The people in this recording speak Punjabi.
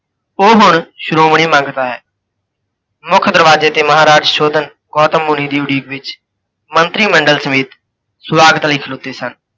ਓਹ ਹੁਣ ਸ਼ੋ੍ਮਣੀ ਮੰਗਤਾ ਹੈ। ਮੁੱਖ ਦਰਵਾਜੇ ਤੇ ਮਹਾਰਾਜ ਸੁਸ਼ੋਧਨ, ਗੌਤਮ ਮੁੰਨੀ ਦੀ ਉਡੀਕ ਵਿੱਚ ਮੰਤਰੀ ਮੰਡਲ ਸਮੇਤ ਸਵਾਗਤ ਲਈ ਖਲੋਤੇ ਸਨ।